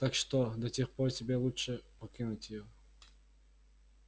так что до тех пор тебе лучше покинуть её